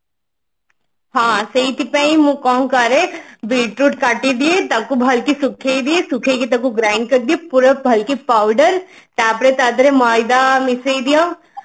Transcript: ହଁ ସେଇଥି ପାଇଁ ମୁଁ କଣ କରେ bit root କାଟିଦିଏ ତାକୁ ଭଲକି ସୁଖେଇ ଦିଏ ସୁଖେଇକି ତାକୁ grain କରିଦିଏ ପୁରା ଭଲକି powder ତାପରେ ତା ଦେହରେ ମଇଦା ମିଶେଇ ଦିଅ